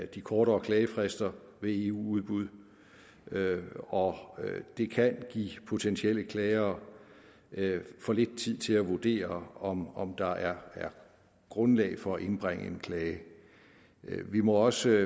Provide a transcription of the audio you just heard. de kortere klagefrister ved eu udbud og at det kan give potentielle klagere for lidt tid til at vurdere om om der er grundlag for at indbringe en klage vi må også